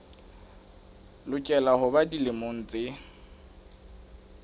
lokela ho ba dilemo tse